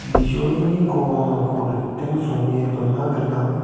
bijolini krongrangko riting songe dona gnang.